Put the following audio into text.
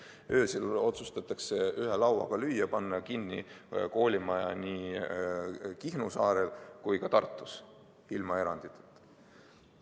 Öösel otsustatakse ühe lauaga lüüa, panna kinni koolimaja nii Kihnu saarel kui ka Tartus – ilma eranditeta.